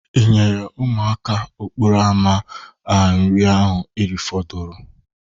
Ị nyere ụmụaka okporo ama a nri ahụ erifudoro?